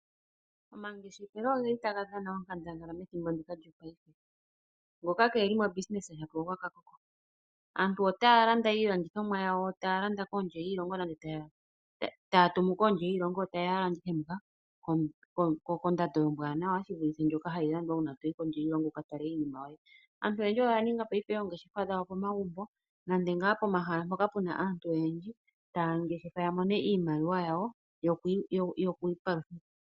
Omangeshefelo otaga dhana onkandangala methimbo ndika lyopaife. Ngoka itaa ngeshefa mopaife shila ogwakakoko. Aantu otaa landa iilandithomwa yawo kondje yiilongo nenge taya tumu kondje yiilongo yo taye ya landithwa muka kondando ombwaanawa shi vulithe ndjoka hayi landwa uuna to yi kondje yiilonga wu ka tale iinima yoye. Aantu oyendji oya ninga oongeshefa dhawo pomagumbo nenge pomahala mpoka pu na aantu oyendji taya ngeshefa ya mone mo iimaliwa yoku ipalutha.